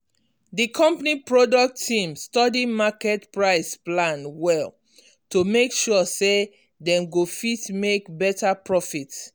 di company product team study market price plan well to make sure say dem go fit make better profit.